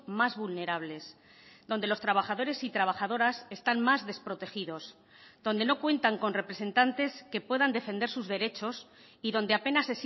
más vulnerables donde los trabajadores y trabajadoras están más desprotegidos donde no cuentan con representantes que puedan defender sus derechos y donde apenas